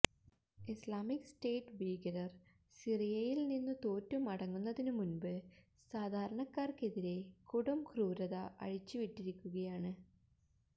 Islamic State ഭീകരർ സിറിയയിൽനിന്നു തോറ്റു മടങ്ങുന്നതിനു മുൻപ് സാധാരണക്കാർക്കെതിരെ കൊടുംക്രൂരത അഴിച്ചുവിട്ടിരിക്കുകയാണ്